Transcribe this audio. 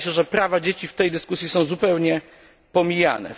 Wydaje się, że prawa dzieci w tej dyskusji są zupełnie pomijane.